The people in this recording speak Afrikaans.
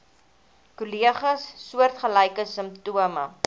kollegas soortgelyke simptome